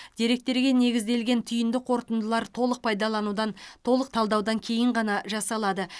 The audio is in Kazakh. деректерге негізделген түйінді қорытындылар толық пайдаланудан толық талдаудан кейін ғана жасалады